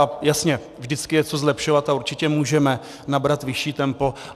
A jasně, vždycky je co zlepšovat a určitě můžeme nabrat vyšší tempo.